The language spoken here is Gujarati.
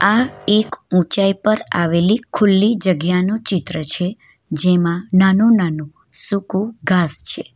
આ એક ઊંચાઈ પર આવેલી ખુલ્લી જગ્યાનું ચિત્ર છે જેમાં નાનું-નાનું સૂકું ઘાસ છે.